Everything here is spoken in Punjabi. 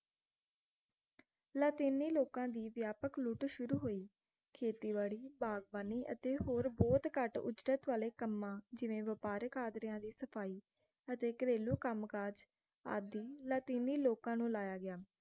ਲਾਤੀਨੀ ਲੋਕਾਂ ਦੀ ਵਿਆਪਕ ਲੁੱਟ ਸ਼ੁਰੂ ਹੋਈ ਖੇਤੀਬਾੜੀ ਬਾਗਬਾਨੀ ਅਤੇ ਹੋਰ ਬਹੁਤ ਘੱਟ ਉਜਰਤ ਵਾਲੇ ਕੰਮਾਂ ਜਿਵੇਂ ਵਪਾਰਕ ਆਦਰਿਆਂ ਦੀ ਸਫ਼ਾਈ ਅਤੇ ਘਰੇਲੂ ਕੰਮਕਾਜ ਆਦਿ ਲਾਤੀਨੀ ਲੋਕਾਂ ਨੂੰ ਲਾਇਆ ਗਿਆ